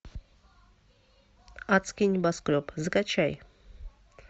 адский небоскреб закачай